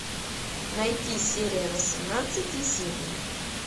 найти серия восемнадцать есенин